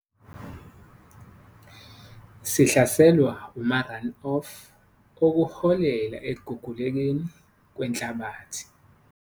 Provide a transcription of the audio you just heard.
Sihlaselwa uma-run off okuholela ekugugulekeni kwenhlabathi.